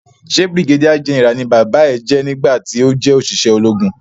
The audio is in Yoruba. Ṣe brigadier general ni bàbá yé jé ní gbà ti ọ jé oṣiṣẹ ológun?